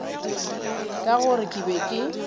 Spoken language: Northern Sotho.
ka gore ke be ke